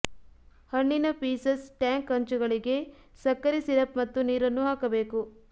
ಹಣ್ಣಿನ pieces tank ಅಂಚುಗಳಿಗೆ ಸಕ್ಕರೆ ಸಿರಪ್ ಮತ್ತು ನೀರನ್ನು ಹಾಕಬೇಕು